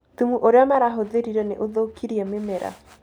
Thumu ũrĩa marahũthĩrire nĩ ũthũkirie mĩmera